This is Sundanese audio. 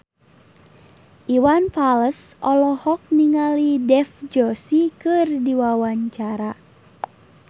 Iwan Fals olohok ningali Dev Joshi keur diwawancara